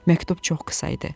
Məktub çox qısa idi.